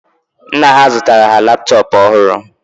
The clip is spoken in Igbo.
Nna ha zụtara ha laptop ọhụrụ